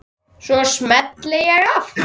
Svo smelli ég af.